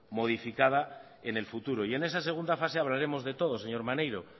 modificada en el futuro y en esa segunda fase hablaremos de todo señor maneiro